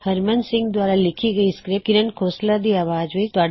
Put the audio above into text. ਹਰਮਨ ਸਿੰਘ ਦੁਆਰਾ ਲਿੱਖੀ ਇਹ ਸਕ੍ਰਿਪਟ ਦੀ ਆਵਾਜ਼ ਵਿਚ ਤੁਹਾਡੇ ਸਾਹਮਣੇ ਹਾਜ਼ਿਰ ਹੋਈ